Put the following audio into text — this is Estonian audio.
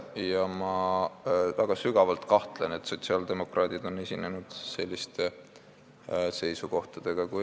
Ja ma väga sügavalt kahtlen selles, et sotsiaaldemokraadid on selliste seisukohtadega esinenud.